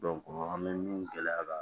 an bɛ min gɛlɛya la